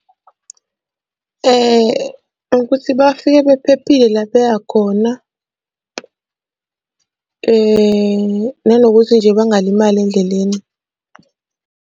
Ukuthi bafike bephephile la ebeya khona, nanokuthi nje bangalimali endleleni.